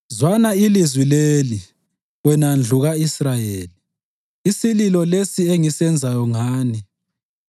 Zwana ilizwi leli, wena ndlu ka-Israyeli, isililo lesi engisenzayo ngani: